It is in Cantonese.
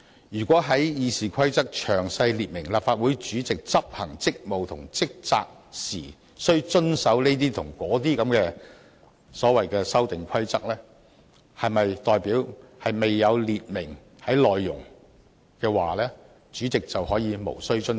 如果要在《議事規則》詳細列明，立法會主席執行職務及履行職責時須遵守這些或那些的所謂修訂規則，是否代表未有列明的規則，主席就可以無須遵守？